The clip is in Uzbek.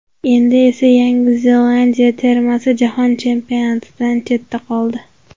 Endi esa Yangi Zelandiya termasi Jahon Chempionatidan chetda qoldi.